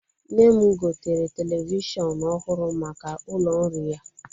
Nne m gotere televishọn ọhụrụ maka ụlọ nri ya.